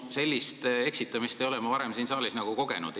Sellist eksitamist ei ole ma varem siin saalis kogenud.